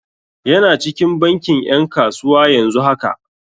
Yana cikin bankin 'yan kasuwa yanzu haka.